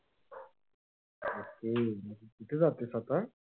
हम्म कुठे जातेस आता?